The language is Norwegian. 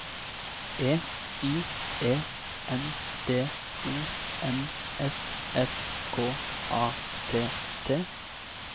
E I E N D O M S S K A T T